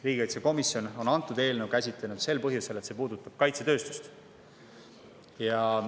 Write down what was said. Riigikaitsekomisjon on antud eelnõu käsitlenud sel põhjusel, et see puudutab kaitsetööstust.